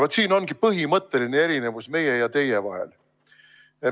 Vot siin ongi põhimõtteline erinevus meie ja teie vahel.